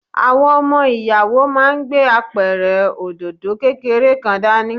Àwọn ọmọ Ìyàwó máa gbé Apẹ̀rẹ̀ òdòdó kékeré kan dání.